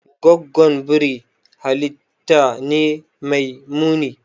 Goggon biri halitta ne mai muni.